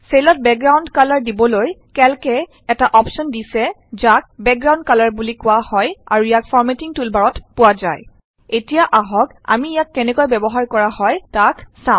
চেলত background colour দিবলৈ Calc এ এটা অপশ্যন দিছে যাক বেকগ্ৰাউণ্ড কালাৰ বুলি কোৱা হয় আৰু ইয়াক ফৰ্মেটিং টুলবাৰত পোৱা যয় এতিয়া আহক আমি ইয়াক কেনেকৈ ব্যৱহাৰ কৰা হয় তাইক চাও